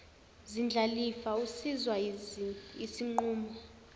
zindlalifa usizwa yisinqumo